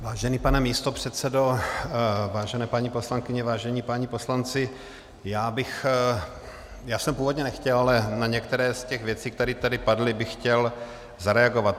Vážený pane místopředsedo, vážené paní poslankyně, vážení páni poslanci, já jsem původně nechtěl, ale na některé z těch věcí, které tady padly, bych chtěl zareagovat.